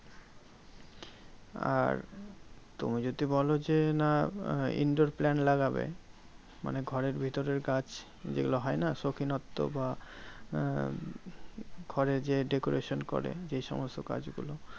আর তুমি যদি বলো যে, না indoor plant লাগবে, মানে ঘরের ভেতরের গাছ যেগুলো হয়না? সৌখিনত্ব বা আহ ঘরে যে decoration করে যেই সমস্ত গাছগুলো।